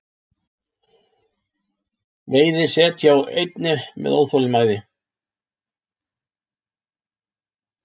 Veiði set hjá einni með óþolinmæði